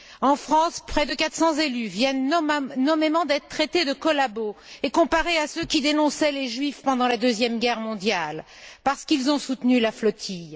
En France, près de 400 élus viennent d'être traités nommément de collabos et comparés à ceux qui dénonçaient les Juifs pendant la Deuxième guerre mondiale, parce qu'ils ont soutenu la flotille.